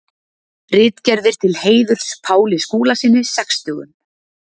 Ritgerðir til heiðurs Páli Skúlasyni sextugum.